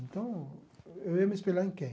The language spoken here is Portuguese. Então, eu ia me espelhar em quem?